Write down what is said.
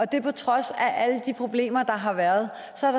det på trods af alle de problemer der har været